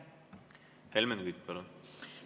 Helmen Kütt, palun!